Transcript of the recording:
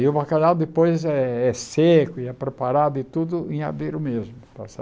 E o bacalhau depois é é seco e é preparado e tudo em adeiro mesmo.